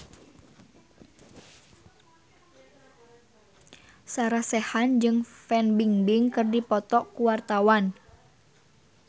Sarah Sechan jeung Fan Bingbing keur dipoto ku wartawan